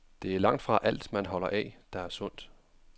Det er langtfra alt, man holder af, der er sundt.